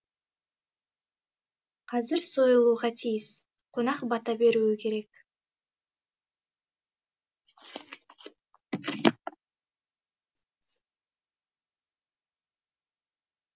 қазір сойылуға тиіс қонақ бата беруі керек